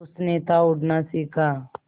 उसने था उड़ना सिखा